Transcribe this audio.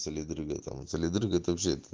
сулит ребятам цилиндрыг это вообще